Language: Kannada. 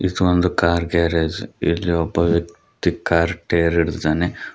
ಇದು ಒಂದು ಕಾರ್ ಗ್ಯಾರೇಜ್ ಇಲ್ಲಿ ಒಬ್ಬ ವ್ಯಕ್ತಿ ಕಾರ್ ಟೈಯರ್ ಹಿಡಿದಿದ್ದಾನೆ.